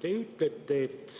Te ütlete, et